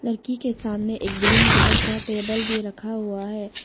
लड़की के सामने एक ग्रीन कलर का टेबल भी रखा हुआ है।